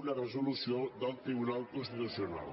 una resolució del tribunal constitucional